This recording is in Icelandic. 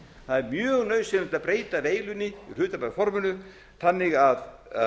það er mjög nauðsynlegt að breyta veilunni í hlutabréfaforminu þannig að